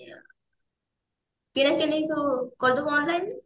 କେମିତି ସବୁ କରିଦେବୁ online ରେ